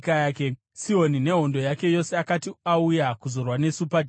Sihoni nehondo yake yose akati auya kuzorwa nesu paJahazi,